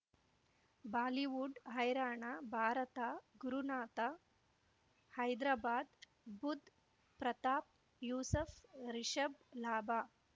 Bollywood ಹೈರಾಣ ಭಾರತ ಗುರುನಾಥ ಹೈದ್ರಾಬಾದ್ ಬುಧ್ ಪ್ರತಾಪ್ ಯೂಸಫ್ ರಿಷಬ್ ಲಾಭ